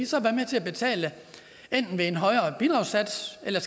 så være med til at betale enten ved en højere bidragssats eller